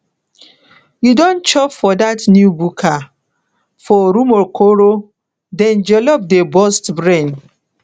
you don chop for dat new buka for rumuokoro dem jollof dey burst brain